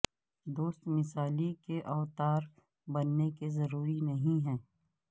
دوست مثالی کے اوتار بننے کے لئے ضروری نہیں ہے